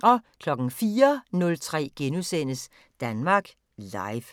04:03: Danmark Live *